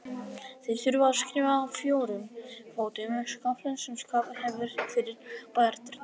Þeir þurfa að skríða á fjórum fótum upp skaflinn sem skafið hefur fyrir bæjardyrnar.